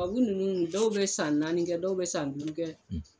Tubabu ninnu dɔw bɛ san naani kɛ dɔw bɛ san duuru kɛ